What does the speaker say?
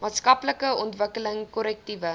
maatskaplike ontwikkeling korrektiewe